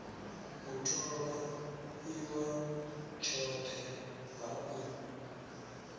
u tholwa iwa tshothe ha